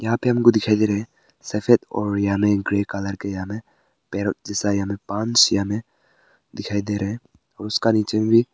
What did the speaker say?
यहां पे हमको दिखाई दे रहा हैं सफेद और या में ग्रे कलर के यहां में पैरेट जैसा पाँच या में दिखाई दे रहे हैं उसका नीचे भी--